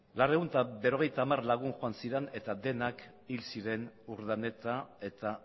laurehun eta berrogeita hamar lagun joan ziren eta denak hil ziren urdaneta eta